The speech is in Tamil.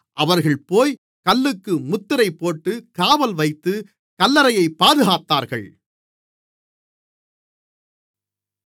அவர்கள்போய்க் கல்லுக்கு முத்திரைபோட்டு காவல்வைத்து கல்லறையைப் பாதுகாத்தார்கள்